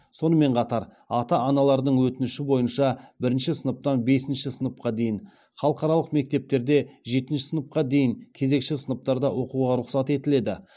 сонымен қатар ата аналардың өтініші бойынша бірінші сыныптан бесінші сыныпқа дейін халықаралық мектептерде жетінші сыныпқа дейін кезекші сыныптарда оқуға рұқсат етіледі